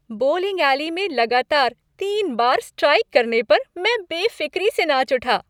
Bowling alley में लगातार तीन बार स्ट्राइक करने पर मैं बेफ़िक्री से नाच उठा।